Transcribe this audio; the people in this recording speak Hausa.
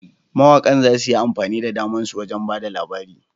Mawaƙan za su yi amfani da damar su wajen ba da labari.